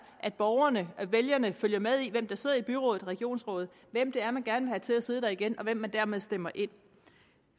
at borgerne vælgerne følger med i hvem der sidder i byrådet og regionsrådet hvem det er man gerne vil have til at sidde der igen og hvem man dermed stemmer ind